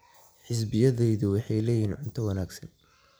Xisbiyadayadu waxay leeyihiin cunto wanaagsan.